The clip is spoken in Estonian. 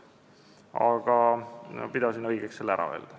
Aga ma pidasin õigeks selle ära öelda.